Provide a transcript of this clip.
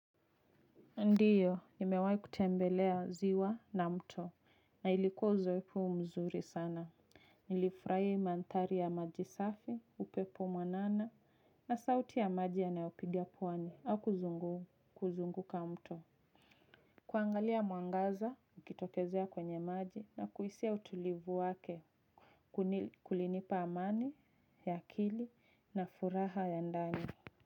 Ndiyo, nimewai kutembelea ziwa na mto, na ilikuwa uzoefu mzuri sana. Nilifraia imantari ya maji safi, upepo mwanana, na sauti ya maji yanaopiga puwani, au kuzungu kuzunguka mto. Kuangalia muangaza, ukitokezea kwenye maji, na kuisiya utulivu wake, kulinipa amani, yakili, na furaha ya ndani.